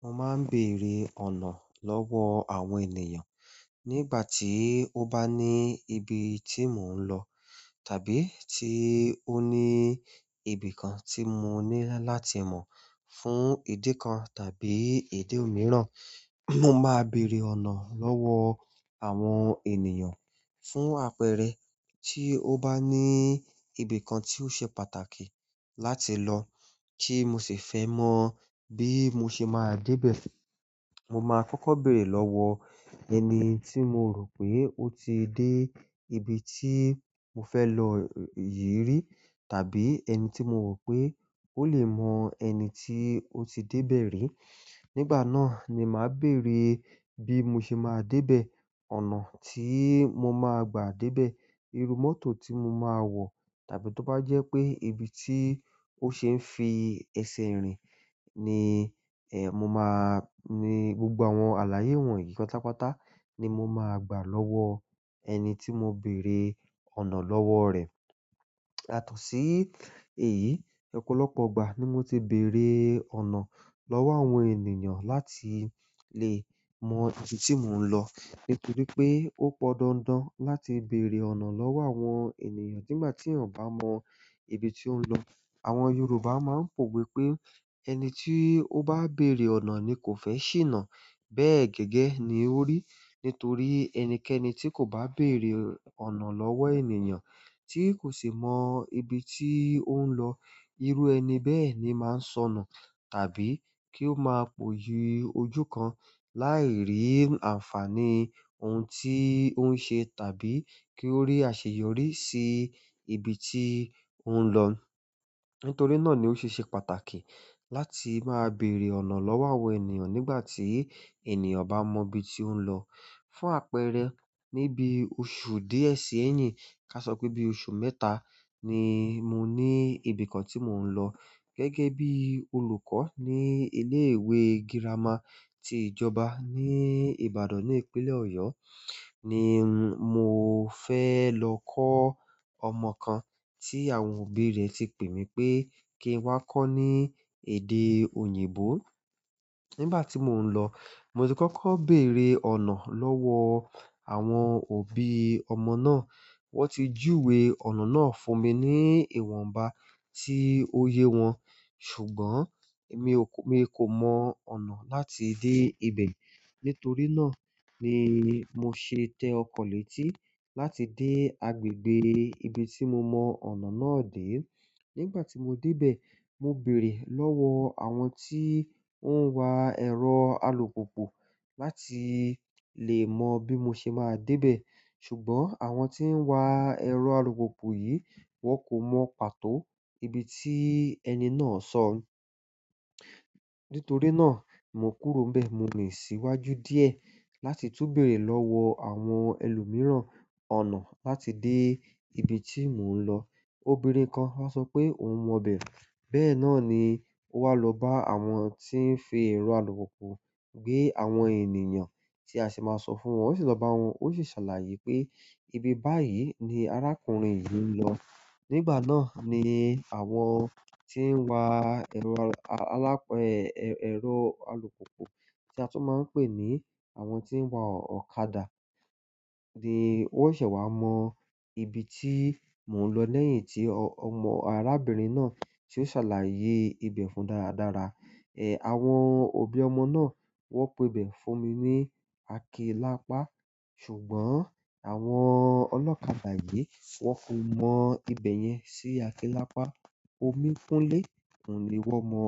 Mo máa ń bèrè ọ̀nà lọ́wọ́ àwọn ènìyàn nígbà tí ó bá ní ibi tí mò ń lọ tàbí tí ó ní ibi kan tí mo ní láti mọ̀ fún ìdí kan tàbí idi imìíràn. Mo máa bèrè ọ̀nà lọ́wọ́ àwọn ènìyàn fún àpẹẹrẹ tí ó bá ní ibi kan tí ó ṣe pàtàkì láti lọ kí mo sì fẹ́ mọ̀ bí mo ṣe máa dé bẹ̀. Mo máa kọ́kọ́ bèrè lọ́wọ́ ẹni tí mo rò pé ó ti dé ibi tí mo fẹ́ lọ yìí rí tàbí ẹni tí mo rò pé ó lè mọ ẹni tí ó ti dé bẹ̀ rí. Nígbà náà ni màá bèrè bí mo ṣe máa dé bẹ̀, ọ̀nà tí mo máa gbà dé bẹ̀, irú mọ́tò tí mo máa wọ̀ tàbí tó bá jẹ́ pé ibi tí ó ṣe ń fi ẹsẹ̀ rìn ni, ẹ́, mo máa-- ní gbogbo àwọn àlàyé wọ̀nyí pátápátá ni mo máa gbà lọ́wọ́ ẹni tí mo bèrè ọ̀nà lọ́wọ́ rẹ̀. Yatọ̀sí èyí, ọ̀pọ̀lọpọ̀ ìgbà ni mo ti bèrè ọ̀nà lọ́wọ́ àwọn ènìyàn láti lè mọ ibi tí mò ń lọ nítorí pé ó pọn dandan láti bèrè ọ̀nà lọ́wọ́ àwọn ènìyàn nígbà tí èèyàn bá mọ ibi tí ó ń lọ. Àwọn yorùbá ma n powe pe ẹni ti o ba bere ọ̀nà ni ko fe sina. Bẹ́ẹ̀ gẹ́gẹ́ ni ó rí nítorí ẹnikẹ́ni tí kò bá bèrè ọ̀nà lọ́wọ́ ènìyàn tí kò sì mọ ibi tí ó ń lọ, irú ẹni bẹ́ẹ̀ ni máa ń sọnù tàbí kí ó máa pọ̀yi ojú kan láì rí àǹfààní ohun tí ó ń ṣe tàbí kí ó rí àṣeyọrí sí ibi tí ó ń lọ. Nítorí náà ni ó ṣe ṣe pàtàkì láti máa bèrè ọ̀nà lọ́wọ́ àwọn ènìyàn nígbà tí ènìyàn o bá n mọ ibi tí ó ń lọ. Fún àpẹẹrẹ, ní bí oṣù díẹ̀ sí èyín, ká sọ pé bí oṣù mẹ́ta ni mo ní ibìkan tí mò ń lọ gẹ́gẹ́ bí olùkọ́ ní ilé ìwé girama ti ìjọba ní Ìbàdàn ní ìpínlẹ̀ Ọ̀yọ́ ni mo fẹ́ lọ kọ́ ọmọ kan tí àwọn òbí rẹ̀ ti pè mí pé kí n wá kọ́ ní èdè òyìnbó. Nígbà tí mò ń lọ, mo ti kọ́kọ́ bèrè ọ̀nà lọ́wọ́ àwọn òbí ọmọ náà. Wọ́n ti júwe ọ̀nà náà fún mi ní ìwọ̀nba tí ó yẹ wọn, ṣùgbọ́n èmi kò, mi kò mọ ọ̀nà láti dé ibẹ̀. Nítorí náà ni mo ṣe tẹ ọkọ̀ létí láti dé agbègbè ibi tí mo mọ ọ̀nà náà dé. Nígbà tí mo dé bẹ̀, mo bèrè lọ́wọ́ àwọn tí ó ń wa ẹ̀rọ alùpùpù láti lè mọ bí mo ṣe máa dé bẹ̀. Ṣùgbọ́n àwọn tí ń wa ẹ̀rọ alùpopo yìí, wọ́n kò mọ pàtó ibi tí ẹni náà sọ. Nítorí náà, mo kúrò n bẹ̀. Mo rin síwájú díẹ̀ láti tún bèrè lọ́wọ́ àwọn ẹlòmíràn ọ̀nà láti dé ibi tí mò ń lọ. Obìnrin kan wá sọ pé òun mọ bẹ̀. Bẹ́ẹ̀ náà ni ó wá lọ bá àwọn tí ń fi ẹ̀rọ alùpopo gbé àwọn ènìyàn tí a sì máa sọ fún wọn. Ó sì lọ bá wọn, ó sì ṣàlàyé pé ibi báyìí ni arákùnrin yìí ń lọ. Nígbà náà ni àwọn tí ń wa ẹ̀rọ alùp-- ẹ̀, ẹ̀rọ alùpopo tí a tún máa ń pè ní àwọn tí ń wa ọ̀kadà ni wọ́n ṣẹ̀ wá mọ ibi tí mò ń lọ lẹ́yìn tí ọmọ arábìnrin náà tí ó ṣàlàyé ibẹ̀ fún wọn dáradára. Ẹ̀, àwọn òbí ọmọ náà wọ́n pe bẹ̀ fún mi ní Akilápá. Ṣùgbọ́n àwọn ọlọ́kadà yìí wọ́n kò mọ ibẹ̀ yẹn sí Akélápá. Omi Kúnlé, oun ni wọ́n mọ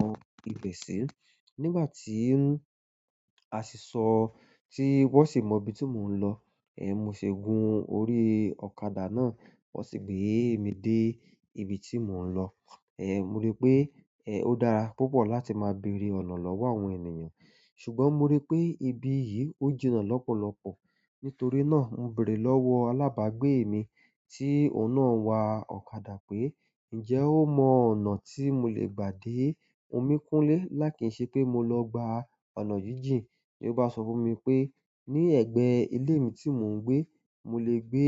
ibẹ̀ sí. Nígbà tí a sì sọ tí wọ́n sì mọ ibi tí mò ń lọ, ẹ́, mo ṣe gun orí ọ̀kadà náà, wọ́n sì gbé mi dé ibi tí mò ń lọ. Ẹ̀, mo rí pé, ẹ́, ó dára púpọ̀ láti máa bèrè ọ̀nà lọ́wọ́ àwọn ènìyàn. Ṣùgbọ́n mo rí pé ibi yìí ó jinnà lọ́pọ̀lọpọ̀. Nítorí náà, mo bèrè lọ́wọ́ alábàgbé mi tí òun náà ń wa ọ̀kadà pé, "Ǹjẹ́ o mọ ọ̀nà tí mo lè gbà dé Omi Kúnlé lákìínṣẹ́ pé mo lọ gba ọ̀nà jíjìn?" Ó bá sọ fún mi pé ní ẹ̀gbẹ́ ilé mi tí mò ń gbé, mo lè gbé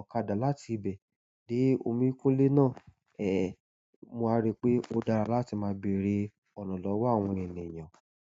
ọ̀kadà láti ibẹ̀ dé Omi Kúnlé náà. E, mo wa ripe o dára láti ma bere ọ̀nà lowo àwọn ènìyàn.